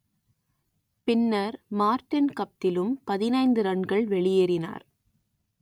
பின்னர் மார்டின் கப்திலும் பதினைந்து ரன்கள் வெளியேறினார்